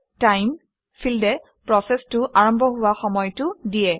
ষ্টাইম ফিল্ডে প্ৰচেচটো আৰম্ভ হোৱা সময়টো দিয়ে